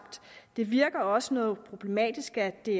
det virker også noget problematisk at det